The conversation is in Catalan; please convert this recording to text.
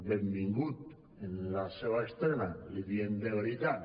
benvingut en la seva estrena l’hi diem de veritat